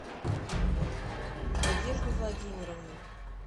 надежду владимировну